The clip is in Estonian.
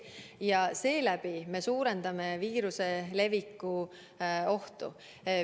Ja seeläbi me suurendame viiruse leviku ohtu.